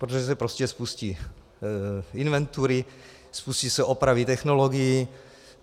Protože se prostě spustí inventury, spustí se opravy technologií.